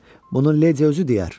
Bunun Lady özü deyər.